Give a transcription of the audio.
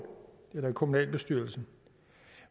eller kommunalbestyrelsen